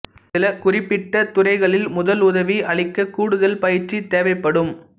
சில குறிப்பிட்ட துறைகளில் முதலுதவி அளிக்க கூடுதல் பயிற்சி தேவைப்படும்